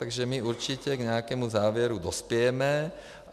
Takže my určitě k nějakému závěru dospějeme.